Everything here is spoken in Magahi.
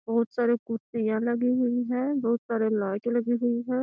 बहुत सारे कुर्सी यहां लगी हुई है बहुत सारे लाइटें लगी हुई है।